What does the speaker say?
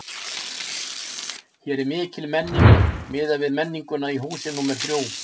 Hér er mikil menning, miðað við menninguna í húsi númer þrjú.